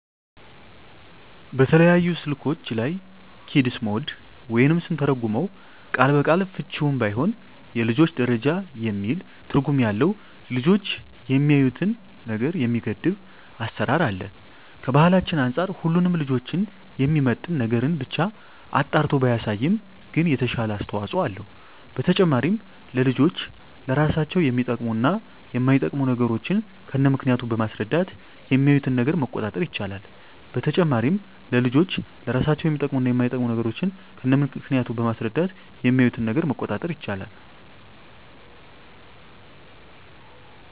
በተለያዩ ስልኮች ላይ "ኪድስ ሞድ" ወይም ስንተረጉመው ቃል በቃል ፍችውም ባይሆን የልጆች ደረጃ የሚል ትርጉም ያለው ልጆች የሚያዪትን ነገር የሚገድብ አሰራር አለ። ከባህላችን አንፃር ሁሉንም ልጆችን የሚመጥን ነገርን ብቻ አጣርቶ ባያሳይም ግን የተሻለ አስተዋጽኦ አለው። በተጨማሪም ለልጆች ለራሳቸው የሚጠቅሙ እና የማይጠቅሙ ነገሮችን ከነምክንያቱ በማስረዳት የሚያዪትን ነገር መቆጣጠር ይቻላል። በተጨማሪም ለልጆች ለራሳቸው የሚጠቅሙ እና የማይጠቅሙ ነገሮችን ከነምክንያቱ በማስረዳት የሚያዪትን ነገር መቆጣጠር ይቻላል።